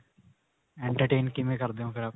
entertain ਕਿਵੇਂ ਕਰਦੇ ਓ ਫ਼ੇਰ